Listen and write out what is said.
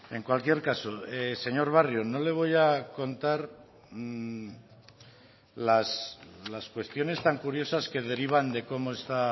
en cualquier caso señor barrio no le voy a contar las cuestiones tan curiosas que derivan de cómo está